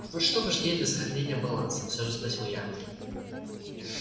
вот что важнее для сохранения баланса все же спросил я